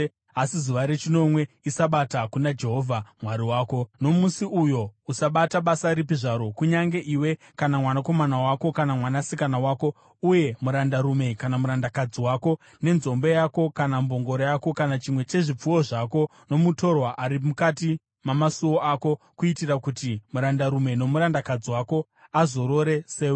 asi zuva rechinomwe iSabata kuna Jehovha Mwari wako. Nomusi uyo usabata basa ripi zvaro, kunyange iwe, kana mwanakomana wako, kana mwanasikana wako, uye murandarume kana murandakadzi wako, nenzombe yako kana mbongoro yako kana chimwe chezvipfuwo zvako, nomutorwa ari mukati mamasuo ako, kuitira kuti murandarume nomurandakadzi wako azorore sewe.